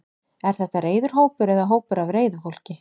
Er þetta reiður hópur eða hópur af reiðu fólki?